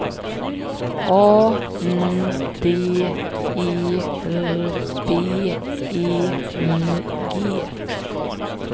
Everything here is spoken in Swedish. A N D E R B E R G